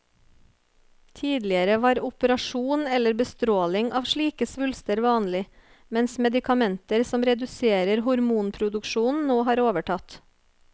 Tidligere var operasjon eller bestråling av slike svulster vanlig, mens medikamenter som reduserer hormonproduksjonen nå har overtatt.